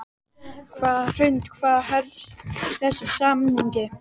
Hrund: Hvað felst í þessum samningi?